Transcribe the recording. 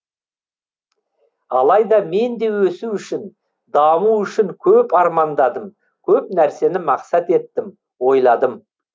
алайда мен де өсу үшін даму үшін көп армандадым көп нәрсені мақсат еттім ойладым